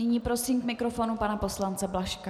Nyní prosím k mikrofonu pana poslance Blažka.